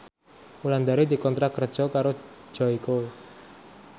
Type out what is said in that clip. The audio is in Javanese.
Wulandari dikontrak kerja karo Joyko